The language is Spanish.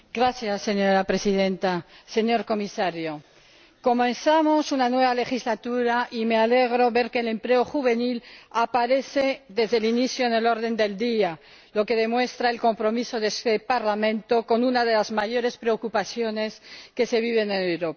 Señora Presidenta, señor Comisario, comenzamos una nueva legislatura y me alegra ver que el empleo juvenil aparece desde el inicio en el orden del día, lo que demuestra el compromiso de este Parlamento con una de las mayores preocupaciones que se viven en Europa.